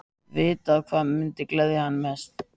Vitað hvað mundi gleðja hann mest.